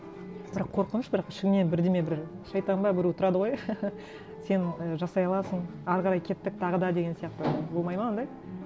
бірақ қорқыныш бірақ ішіне бірдеңе бір шайтан ба біреу тұрады ғой сен ы жасай аласың әрі қарай кеттік тағы да деген сияқты болмайды ма ондай